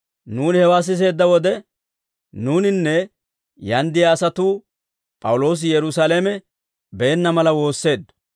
Nuuni hewaa siseedda wode, nuuninne yaan de'iyaa asatuu P'awuloosi Yerusaalame beenna mala woosseeddo.